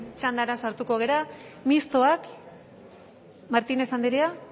txandara sartuko gara mistoak martínez andrea